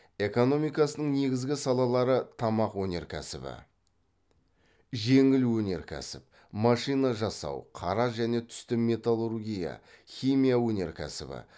экономикасының негізгі салалары тамақ өнеркәсібі жеңіл өнеркәсіп машина жасау қара және түсті металлургия химия өнеркәсібі